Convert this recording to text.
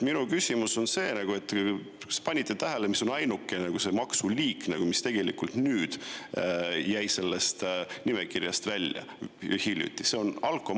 Minu küsimus on see: kas te panite tähele, mis on ainukene maksuliik, mis jäi sellest nimekirjast välja ja just hiljuti?